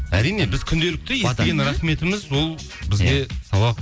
әрине біз күнделікті естіген рахметіміз ол бізге сауап